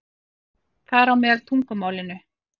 Þar á meðal tungumálinu.